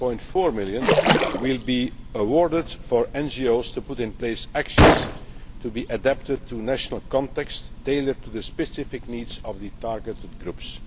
11.4 million will be awarded for NGOs to put in place actions to be adapted to national contexts, tailored to the specific needs of the targeted groups.